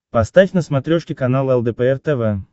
поставь на смотрешке канал лдпр тв